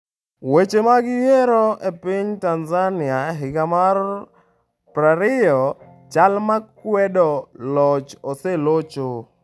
Weche mag yiero e piny Tanzania higa mar prariyo Jal ma kwedo loch oselocho